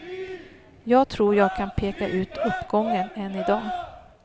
Jag tror jag kan peka ut uppgången än i dag.